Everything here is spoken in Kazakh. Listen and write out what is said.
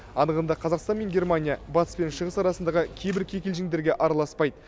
анығында қазақстан мен германия батыс пен шығыс арасындағы кейбір кикілжіңдерге араласпайды